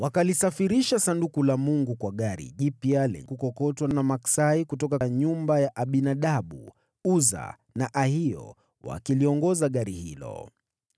Wakalisafirisha Sanduku la Mungu kwa gari jipya la kukokotwa na maksai kutoka nyumba ya Abinadabu, Uza na Ahio wakiliongoza gari hilo.